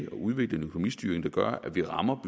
at udvikle en økonomistyring der gør at vi rammer